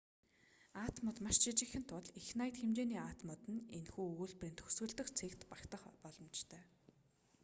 атомууд маш жижигхэн тул их наяд хэмжээний атомууд нь энэхүү өгүүлбэрийн төгсгөл дэх цэгт багтах боломжтой